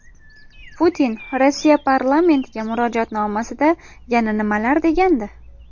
Putin Rossiya parlamentiga murojaatnomasida yana nimalar degandi?